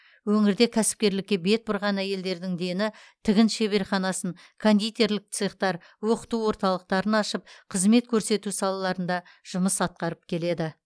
өңірде кәсіпкерлікке бет бұрған әйелдердің дені тігін шеберханасын кондитерлік цехтар оқыту орталықтарын ашып қызмет көрсету салаларында жұмыс атқарып келеді